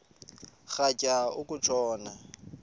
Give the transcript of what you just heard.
rhatya uku tshona